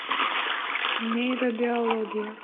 нейробиология